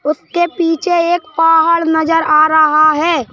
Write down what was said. उसके पीछे एक पहाड़ नजर आ रहा है।